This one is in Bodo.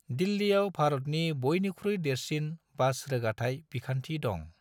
दिल्लियाव भारतनि बयनिख्रुइ देरसिन बास रोगाथाय बिखान्थि दं।